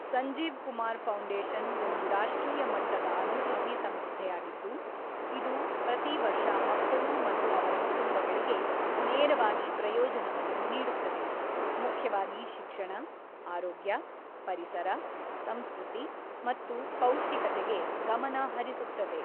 Sanjeev Kumar foundation ಒಂದು ರಾಷ್ಟ್ರೀಯ ಮಟ್ಟದ ಅಭಿವೃದ್ಧಿ ಸಂಸ್ಥೆಯಾಗಿದ್ದು, ಇದು ಪ್ರತಿ ವರ್ಷ ಮಕ್ಕಳು ಮತ್ತು ಅವರ ಕುಟುಂಬಗಳಿಗೆ ನೇರವಾಗಿ ಪ್ರಯೋಜನವನ್ನು ನೀಡುತ್ತದೆ, ಮುಖ್ಯವಾಗಿ ಶಿಕ್ಷಣ, ಆರೋಗ್ಯ, ಪರಿಸರ, ಸಂಸ್ಕೃತಿ ಮತ್ತು ಪೌಷ್ಟಿಕತೆಗೆ ಗಮನ ಹರಿಸುತ್ತದೆ.